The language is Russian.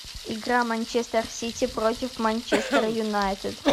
игра манчестер сити против манчестер юнайтед